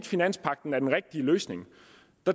finanspagten er den rigtige løsning